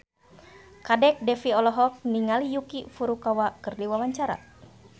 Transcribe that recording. Kadek Devi olohok ningali Yuki Furukawa keur diwawancara